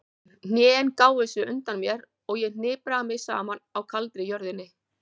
Hnén gáfu sig undan mér og ég hnipraði mig saman á kaldri jörðinni.